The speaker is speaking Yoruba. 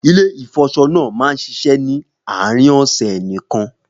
Ilé ìfọṣọ náà máa ń ṣiṣẹ́ ni àárín ọ̀sẹ̀ nìkan